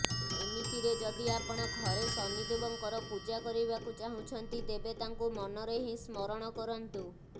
ଏମିତିରେ ଯଦି ଆପଣ ଘରେ ଶନିଦେବଙ୍କର ପୂଜା କରିବାକୁ ଚାହୁଁଛନ୍ତି ତେବେ ତାଙ୍କୁ ମନରେ ହିଁ ସ୍ମରଣ କରନ୍ତୁ